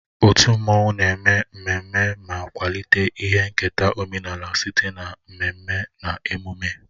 Otu mmanwụ na-eme mmemme ma kwalite ihe nketa omenala site na mmemme na emume